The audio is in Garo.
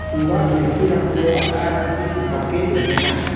ua kelkirangko ba·rarangchi pindape donenga.